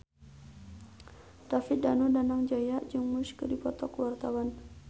David Danu Danangjaya jeung Muse keur dipoto ku wartawan